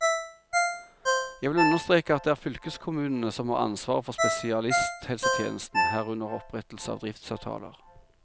Jeg vil understreke at det er fylkeskommunene som har ansvaret for spesialisthelsetjenesten, herunder opprettelse av driftsavtaler.